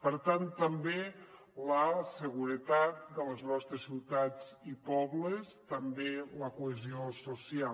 per tant també la seguretat de les nostres ciutats i pobles també la cohesió social